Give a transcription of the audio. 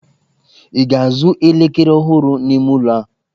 Ị ga-azụ elekere ọhụrụ n'ime ụlọ a?